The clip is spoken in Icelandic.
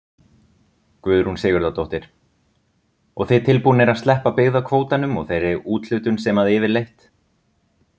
Guðrún Sigurðardóttir: Og þið tilbúnir að sleppa byggðakvótanum og þeirri úthlutun sem að yfirleitt?